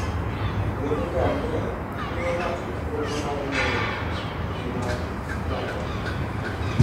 Wuoth ngamia miyo ng'ato thuolo mar ng'eyo kit ngima ogandagi.